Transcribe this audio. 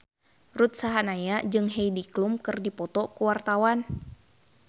Ruth Sahanaya jeung Heidi Klum keur dipoto ku wartawan